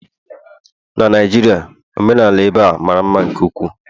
na Naijiria, omenala ebe a mara mma nke ukwuu